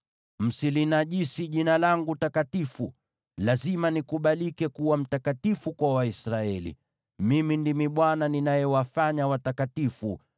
Msilinajisi Jina langu takatifu. Lazima nikubalike kuwa mtakatifu kwa Waisraeli. Mimi ndimi Bwana ninayewafanya watakatifu,